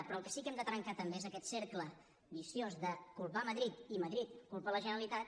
però el que sí que hem de trencar també és aquest cercle viciós de culpar madrid i madrid culpar la generalitat